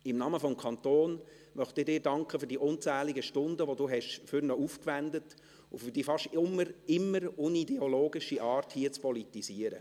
Im Namen des Kantons möchte ich Ihnen für die unzähligen Stunden danken, die Sie für ihn aufgewendet haben, und für die fast immer unideologische Art, hier zu politisieren.